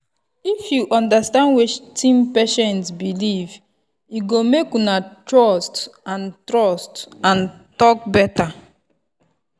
if you understand wetin patient believe e go make una trust and trust and talk better.